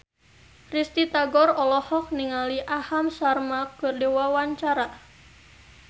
Risty Tagor olohok ningali Aham Sharma keur diwawancara